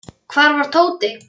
Hvar var Tóti?